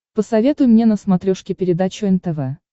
посоветуй мне на смотрешке передачу нтв